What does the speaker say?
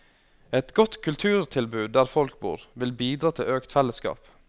Et godt kulturtilbud der folk bor, vil bidra til økt fellesskap.